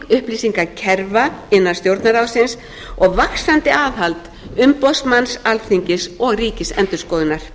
upplýsingakerfa innan stjórnarráðsins og vaxandi aðhald umboðsmanns alþingis og ríkisendurskoðunar